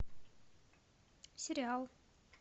сериал